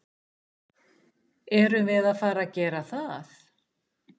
Erum við að fara að gera það?